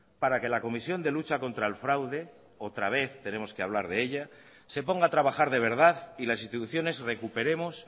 para que la comisión de lucha contra el fraude otra vez tenemos que hablar de ella se ponga a trabajar de verdad y las instituciones recuperemos